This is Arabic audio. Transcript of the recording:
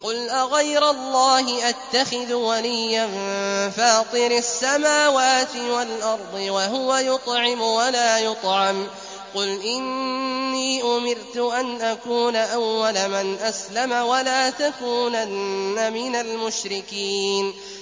قُلْ أَغَيْرَ اللَّهِ أَتَّخِذُ وَلِيًّا فَاطِرِ السَّمَاوَاتِ وَالْأَرْضِ وَهُوَ يُطْعِمُ وَلَا يُطْعَمُ ۗ قُلْ إِنِّي أُمِرْتُ أَنْ أَكُونَ أَوَّلَ مَنْ أَسْلَمَ ۖ وَلَا تَكُونَنَّ مِنَ الْمُشْرِكِينَ